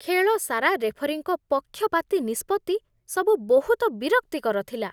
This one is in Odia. ଖେଳ ସାରା ରେଫରୀଙ୍କ ପକ୍ଷପାତୀ ନିଷ୍ପତ୍ତି ସବୁ ବହୁତ ବିରକ୍ତିକର ଥିଲା।